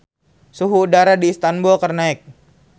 Suhu udara di Istanbul keur naek